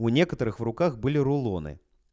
у некоторых в руках были рулоны